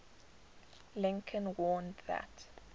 lincoln warned that